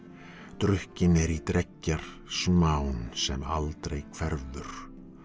drukkin er í dreggjar smán sem aldrei hverfur